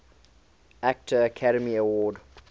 actor academy award